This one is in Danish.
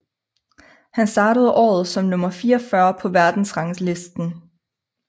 Han startede året som nummer 44 på verdensranglisten